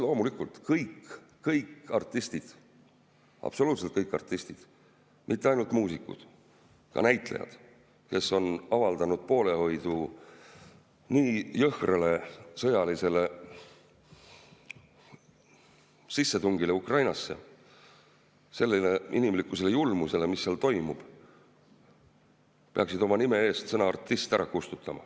Loomulikult, kõik artistid, absoluutselt kõik artistid, mitte ainult muusikud, ka näitlejad, kes on avaldanud poolehoidu nii jõhkrale sõjalisele sissetungile Ukrainasse, sellele julmusele, mis seal toimub, peaksid oma nime eest sõna "artist" ära kustutama.